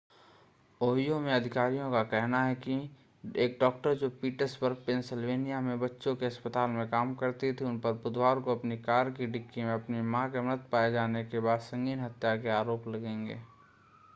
Ohio में अधिकारियों का कहना है कि एक डॉक्टर जो पिट्सबर्ग पेंसिल्वेनिया में बच्चों के अस्पताल में काम करती थी उन पर बुधवार को अपनी कार की डिक्की में अपनी मां के मृत पाए जाने के बाद संगीन हत्या के आरोप लगेंगे